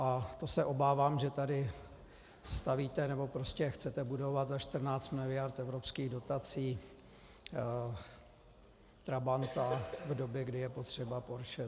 A to se obávám, že tady stavíte, nebo prostě chcete budovat za 14 mld. evropských dotací trabanta v době, kdy je potřeba porsche.